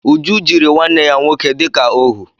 Uju jiri nwanne ya nwoke dịka óhú